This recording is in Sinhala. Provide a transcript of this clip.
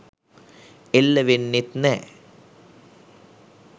එල්ල වෙන්නෙත් නෑ.